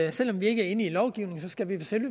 og selv om vi ikke er enige i lovgivningen skal vi